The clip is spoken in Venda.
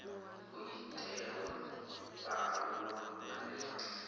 ho itelwa vhaaluwa vhane vha